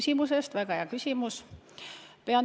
Aitäh, väga hea küsimus!